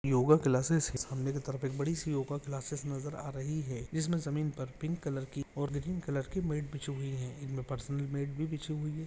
Yoga classes है सामने की तरफ एक बड़ी सी योग योगा क्लासेस नजर आ रही है जिसमें जमीन पर पिंक कलर की और कलर की मैट बिछी हुई है इनमे पर्सनल मैट भी बीछी हुई है।